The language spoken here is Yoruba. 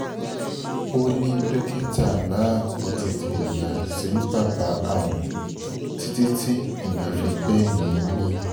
ó ní dókítà náà kó tètè yà sí bàbá àwọn títí tí ìyẹn fi gbẹ́mìí mì